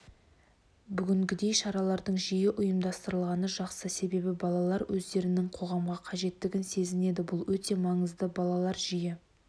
бүгінгідей шаралардың жиі ұйымдастырылғаны жақсы себебі балалар өздерінің қоғамға қажеттігін сезінеді бұл өте маңызды балалар жиі